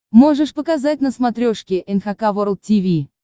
можешь показать на смотрешке эн эйч кей волд ти ви